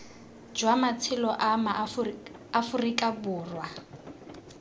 jwa matshelo a maaforika borwa